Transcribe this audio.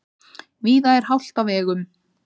Víða er hált á vegum